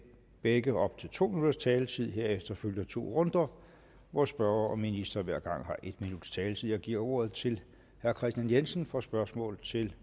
begge op til to minutters taletid herefter følger to runder hvor spørger og minister hver gang har en minuts taletid jeg giver ordet til herre kristian jensen for spørgsmål til